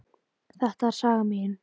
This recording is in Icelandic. Þetta er saga mín.